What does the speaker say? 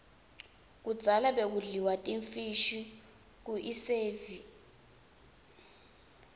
kudzala bekudliwa timfishi kuiesive